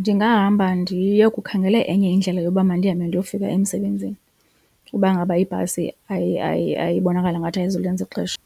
Ndingahamba ndiye kukhangela enye indlela yoba mandihambe ndiyofika emsebenzini uba ngaba ibhasi ibonakala ngathi ayizulenza ixesha